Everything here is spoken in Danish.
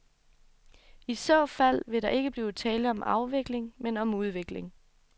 I så fald vil der ikke blive tale om afvikling, men om udvikling.